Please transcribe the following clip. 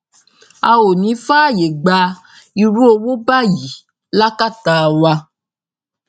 a ò ní í fààyè gba irú owó báyìí lákàtà wa